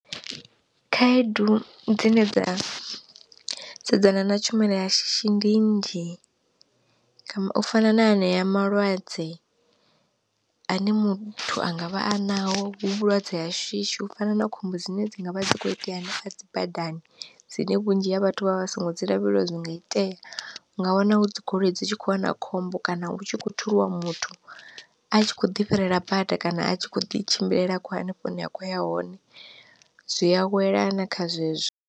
Khaedu dzine dza sedzana na tshumelo ya shishi ndi nnzhi, u fana na anea malwadze ane muthu anga vha a naho hu vhulwadze ha shishi u fana na khombo dzine dzi ngavha dzi kho itea hanefha dzi badani dzine vhunzhi ha vhathu vha vha vha songo dzi lavhelelwa zwi nga itea. U nga wana dzi goloi dzi tshi kho wana khombo kana hu tshi kho thuliwa muthu a tshi kho ḓi fhirela bada kana a tshi kho ḓi tshimbilela akho hanefho hune a khou ya hone, zwi awela na kha zwezwo.